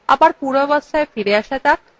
আবার পূর্বাবস্থায় ফিরে আসা যাক